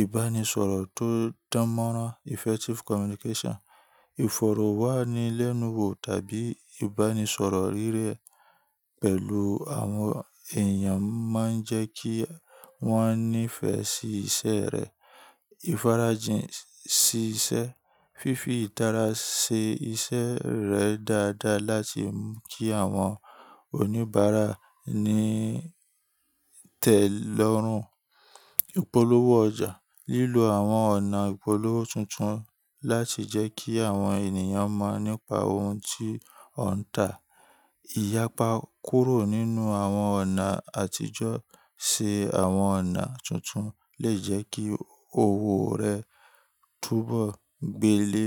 ìbánisọ̀rọ̀ tó dánmọ́nrán, effective communication. Ìfọ̀rọ̀wánilẹ́nuwò tàbí ìbánisọ̀rọ̀ rire pẹ̀lú àwọn èèyàn máa ń jẹ́ kí wọ́n nífẹ̀ẹ́ sí iṣẹ́ rẹ. Ifáràjìn sí iṣẹ́, fífi ìtara ṣe iṣẹ́ rẹ dáadáa láti mú kí àwọn oníbàárà ní ìtẹ́lọ́rùn. Ìpolówó ọjà, lílo àwọn ọ̀nà ìpolówó tuntun láti jẹ́ kí àwọn èniyàn mọ̀ nípa ohun tí ó ń tà. Iyapa kúrò nínú àwọn ọ̀nà àtijọ́ sí àwọn ọ̀nà tuntun lè jẹ́ kí òwò rẹ túbọ̀ gbélé.